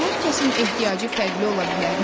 Hər kəsin ehtiyacı fərqli ola bilərmi?